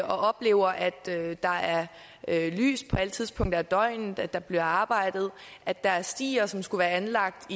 oplever at der er lys på alle tidspunkter af døgnet at der bliver arbejdet at der er stier som skulle være anlagt